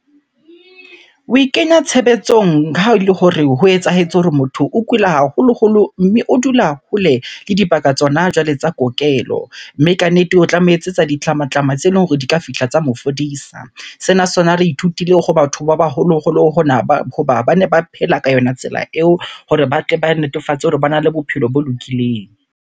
Oe kenya tshebetsong ha ele hore ho etsahetse hore motho o kula haholoholo mme o dula hole le dibaka tsona jwale tsa kokelo. Mme kannete o tla mo etsetsa tsa ditlamamatlama tse leng hore di ka fihla tsa mo fodisa. Sena sona re ithutile ho batho ba baholoholo hona ba, hoba bane ba phela ka yona tsela eo hore ba tle ba netefatse hore bana le bophelo bo lokileng.